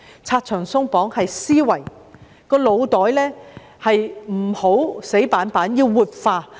拆牆鬆綁是指思維，腦袋不要太死板，要活化。